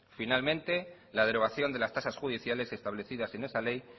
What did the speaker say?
finalmente la derogación de las tasas judiciales establecidas en esa ley